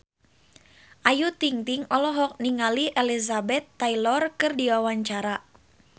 Ayu Ting-ting olohok ningali Elizabeth Taylor keur diwawancara